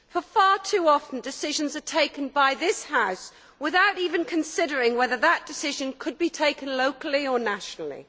far too often, decisions are taken by this House without even considering whether that decision could be taken locally or nationally.